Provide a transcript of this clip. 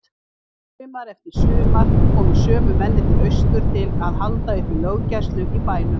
Sumar eftir sumar komu sömu mennirnir austur til að halda uppi löggæslu í bænum.